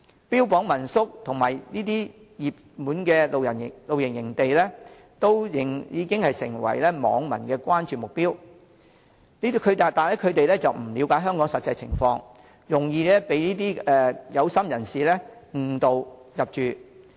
標榜民宿及熱門的露營地點已成為網民的關注目標，他們不了解香港實際情況，容易被"有心人士"誤導入住。